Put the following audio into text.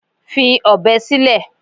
Fi ọ̀bẹ sílẹ̀!